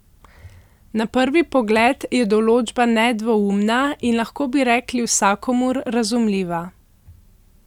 Na prvi pogled je določba nedvoumna in lahko bi rekli vsakomur razumljiva.